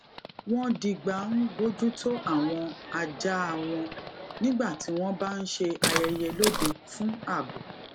wón digba n bójútó àwọn ajáa won nígbà tí wón bá n ṣe ayẹyẹ lóde fún abo